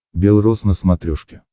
бел рос на смотрешке